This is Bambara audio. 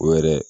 O yɛrɛ